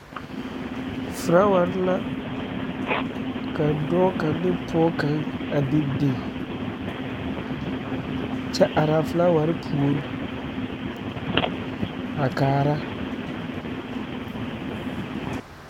Felaaware la ka dɔɔ kaŋ ane pɔɔ kaŋ de biŋ kyɛ are a felaaware puori a kaara